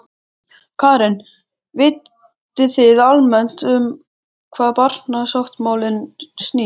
Karen: Vitið þið almennt um hvað barnasáttmálinn snýst?